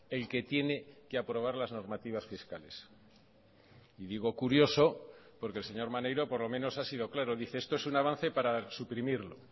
el que tiene que aprobar las normativas fiscales y digo curioso porque el señor maneiro por lo menos ha sido claro dice esto es un avance para suprimirlo